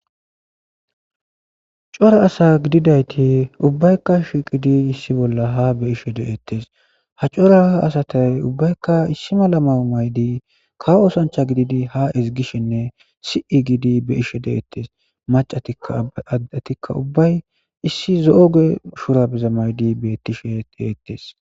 Cora asa gididayti ubbaykka shiqidi issi bolla ha be ishe deettes ha cora asatay ubbaykka issi mala mao maydi kawo osancha gididi ha ezigishenne si7i giidi be ishe deettes macataaddatikka ubbay issi zo7oge shurabeza maydi bettishe deeettes